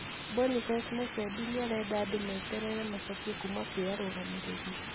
Boniface Musembi niarenda andũ meterere macokio kuma kwi arũgamĩrĩri,